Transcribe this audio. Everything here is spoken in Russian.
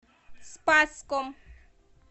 спасском